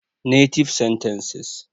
Native Sentences